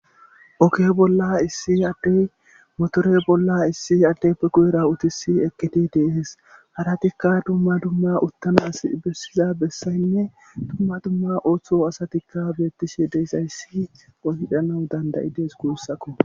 Oke bolla issi addey motore bolla issi adde pequ'era utisi eqqiti deehees haratikka dumma dumma uttamas bessiza bessaynne dumma dumma ooththo asatikka beettishe deessayssi oyhdhanau dandayides guussakko